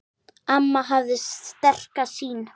Amma hafði sterka sýn.